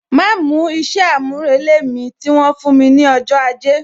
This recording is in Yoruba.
Ma mú isẹ amurele mi, tí wọn fún mi ní ọjọ́ ajé